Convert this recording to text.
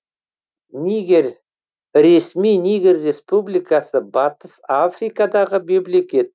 нигер ресми нигер республикасы батыс африкадағы мемлекет